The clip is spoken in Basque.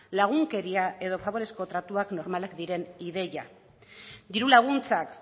lagunkeria edo faborezko tratuak normalak diren ideiak diru laguntzak